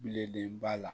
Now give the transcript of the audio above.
Bilenba la